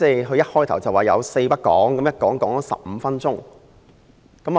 他開始發言時說"四不講"，但一講便講了15分鐘。